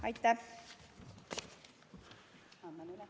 Aitäh!